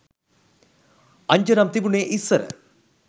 අංජනම් තිබුනේ ඉස්සර